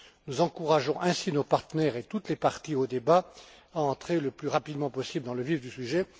Nous encourageons ainsi nos partenaires et toutes les parties au débat à entrer le plus rapidement possible dans le vif du sujet.